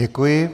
Děkuji.